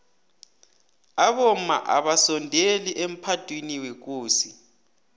abomma abasondeli emphadwiniwekosini